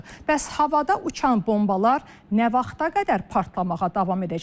Bəs havada uçan bombalar nə vaxta qədər partlamağa davam edəcək?